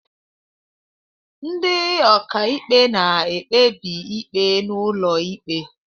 Ndị ọka ikpe na-ekpebi ikpe n'ụlọ ịkpe.